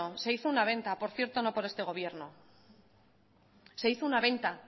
se hizo una venta por cierto no por este gobierno se hizo una venta